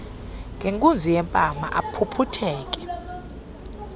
ngenkunzi yempama aphuphutheke